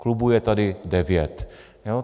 Klubů je tady devět.